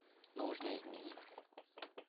нужно изменить заказ